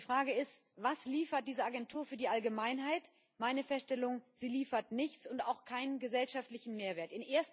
Die Frage ist Was liefert diese Agentur für die Allgemeinheit? Meine Feststellung Sie liefert nichts und auch keinen gesellschaftlichen Mehrwert.